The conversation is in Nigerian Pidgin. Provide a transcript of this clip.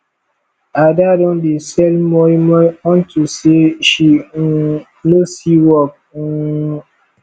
ada don dey sell moi moi unto say she um no see work um